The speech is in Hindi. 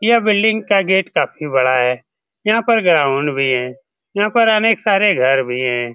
ये बिल्डिंग का गेट काफी बड़ा है यहाँ पर ग्राउंड भी है यहाँ पर अनेक सारे घर भी है।